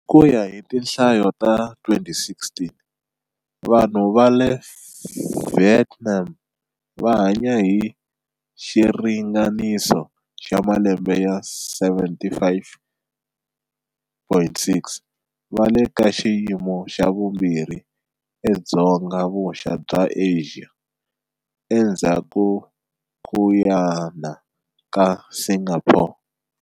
Hi ku ya hi tinhlayo ta 2016, vanhu va le Vietnam va hanya hi xiringaniso xa malembe ya 75,6, va le ka xiyimo xa vumbirhi eDzonga-vuxa bya Asia, endzhakunyana ka Singapore.